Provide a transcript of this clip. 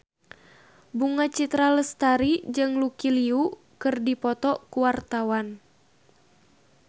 Bunga Citra Lestari jeung Lucy Liu keur dipoto ku wartawan